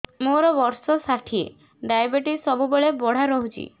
ମୋର ବର୍ଷ ଷାଠିଏ ଡାଏବେଟିସ ସବୁବେଳ ବଢ଼ା ରହୁଛି